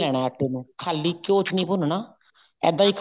ਲੈਣਾ ਆਟੇ ਨੂੰ ਖਾਲੀ ਘਿਓ ਚ ਨੀ ਭੁੰਨਣਾ ਇੱਦਾਂ ਹੀ